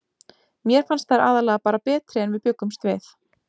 Mér fannst þær aðallega bara betri en við bjuggumst við.